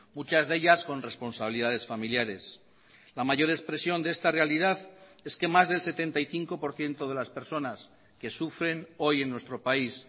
muchas de ellas con responsabilidades familiares la mayor expresión de esta realidad es que más del setenta y cinco por ciento de las personas que sufren hoy en nuestro país